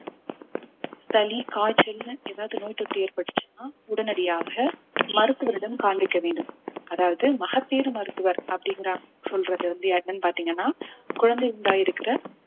சளி காய்ச்சல்ன்னு ஏதாவது நோய் தொற்று ஏற்பட்டுச்சுன்னா உடனடியாக மருத்துவரிடம் காண்பிக்க வேண்டும் அதாவது மகப்பேறு மருத்துவர் அப்படின்ற சொல்றது வந்து என்னன்னு பார்த்தீங்கன்னா குழந்தை உண்டாயிருக்கிற